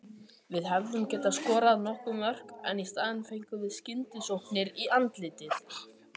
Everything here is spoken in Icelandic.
Við hefðum getað skorað nokkur mörk en í staðinn fengum við skyndisóknir í andlitið.